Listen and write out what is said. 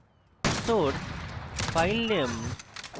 source filename